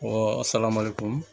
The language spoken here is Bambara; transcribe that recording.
salamaliku